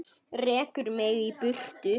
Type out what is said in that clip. Rekur mig í burtu?